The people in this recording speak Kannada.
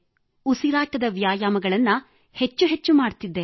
ಉಸಿರಾಟದ ವ್ಯಾಯಾಮಗಳನ್ನು ಹೆಚ್ಚು ಹೆಚ್ಚು ಮಾಡುತ್ತಿದ್ದೆ